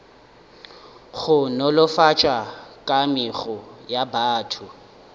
go nolofatša kamego ya batho